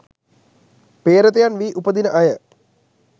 පේ්‍රතයන් වී උපදින අය